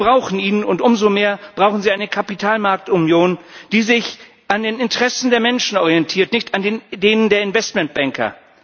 Sie brauchen ihn, und umso mehr brauchen sie eine Kapitalmarktunion, die sich an den Interessen der Menschen orientiert, nicht an den Ideen der Investmentbanker.